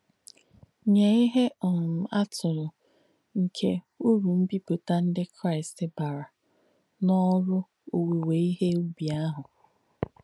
Nyé íhe um àtùlù nkè ùrù m̀bìpútà ndí Kráīst bàrà n’òrū òwúwé íhe ùbì àhù.